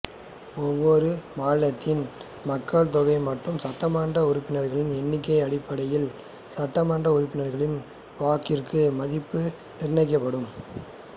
ஒவ்வொரு மாநிலத்தின் மக்கள் தொகை மற்றும் சட்டமன்ற உறுப்பினர்கள் எண்ணிக்கை அடிப்படையில் சட்ட மன்ற உறுப்பினர்களின் வாக்கிற்கு மதிப்பு நிர்ணயிக்கப்படும்